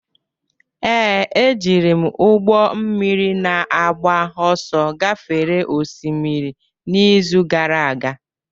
Ee, ejiri m ụgbọ mmiri na-agba ọsọ gafere osimiri n'izu gara aga